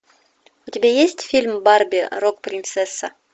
у тебя есть фильм барби рок принцесса